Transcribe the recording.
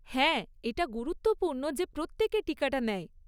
হ্যাঁ, এটা গুরুত্বপূর্ণ যে প্রত্যেকে টিকাটা নেয়।